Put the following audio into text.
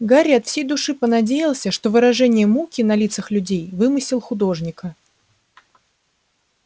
гарри от всей души понадеялся что выражение муки на лицах людей вымысел художника